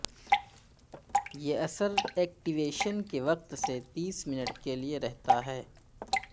یہ اثر ایکٹیویشن کے وقت سے تیس منٹ کے لئے رہتا ہے